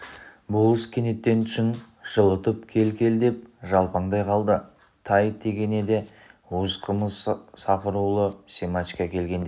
болыс кенет түсін жылытып кел кел деп жалпаңдай қалды тай тегенеде уыз қымыз сапырулы семашко келгенде